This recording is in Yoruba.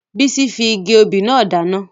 Bisola fi igi obì náà dáná